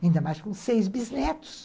Ainda mais com seis bisnetos.